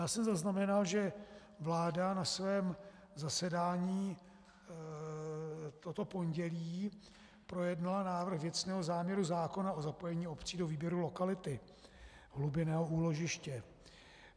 Já jsem zaznamenal, že vláda na svém zasedání toto pondělí projednala návrh věcného záměru zákona o zapojení obcí do výběru lokality hlubinného úložiště.